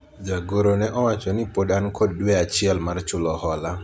jagoro ne owacho ni pod an kod dwe achiel mar chulo hola